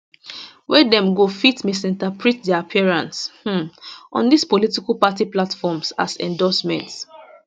wey dem go fit misinterpret dia appearance um on dis political party platforms as endorsement